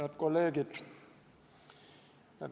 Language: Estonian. Head kolleegid!